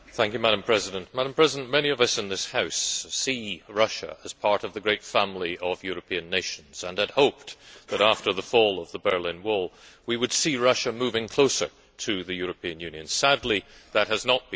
Madam President, many of us in this House see Russia as part of the great family of European nations and had hoped that after the fall of the Berlin Wall, we would see Russia moving closer to the European Union. Sadly, that has not been the case.